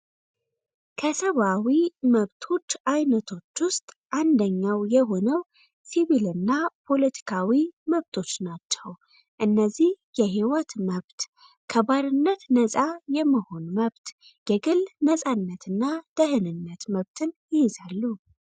ከሰብዓዊ መብቶች አይነቶች ውስጥ አንደኛው የሆነው ሲቪልእና ፖለቲካዊ መብቶች ናቸው እነዚህ የሕይወት መብት ከባርነት ነጻ የመሆን መብት የግል ነጻነትና ደህንነት መብትን ይይዛሉ።